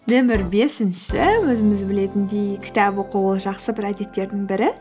нөмір бесінші өзіміз білетіндей кітап оқу ол жақсы бір әдеттердің бірі